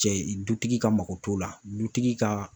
Cɛ dutigi ka mako t'o la dutigi ka